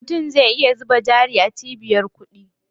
Mutum zai iya zuba jari a cibiyar kuɗi.